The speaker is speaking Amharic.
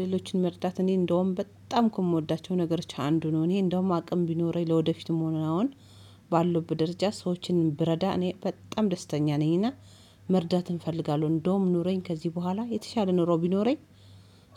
ሌሎችን መርዳት እኔ እንደውም በጣም እኮ የምወዳቸው ነገሮች አንዱ ነው እኔ እንደውም አቅም ቢኖረኝ ለወደፊትም ሆነ አሁን ባለሁበት ደረጃ ሰዎችን ብረዳ እኔ በጣም ደስተኛ ነኝና። መርዳትን እፈልጋለሁ እንደውም ኑረኝ ከዚህ በኋላ የተሻለ ኖሮ ቢኖረኝ